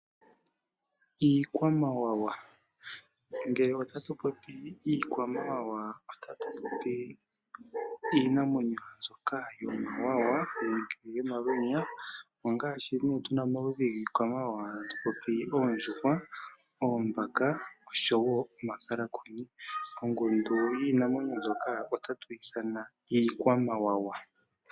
Ngele ota ku popiwa iikwamawawa ota ku popiwa iinamwenyo mbyoka yi na omawawa nenge omalwenya ngaashi oondjuhwa, oombaka osho wo omakalakuni. Ongundu yiinamwenyo mbyoka otatu yi ithana iikwamawawa.